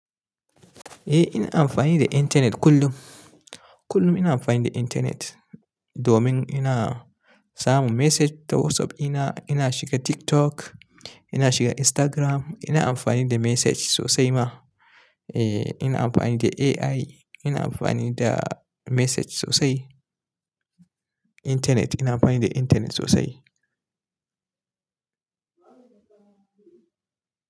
Eh ina amfani da intanet kullum. Kullum ina amfani da intanet domin ina samun message ta WhatsApp. Ina, ina shiga TikTok, ina shiga Instagram. Ina amfani da message sosai ma. Eh ina amfani da AI, ina amfani da message sosai. Intanet ina amfani da intanet sosai.